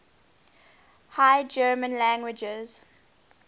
high german languages